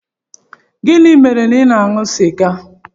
Gịnị mere ị na-aṅụ sịga?